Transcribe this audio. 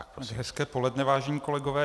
Hezké poledne, vážení kolegové.